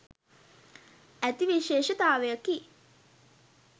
ඇති විශේෂතාවයකි.